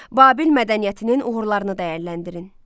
Babil mədəniyyətinin uğurlarını dəyərləndirin.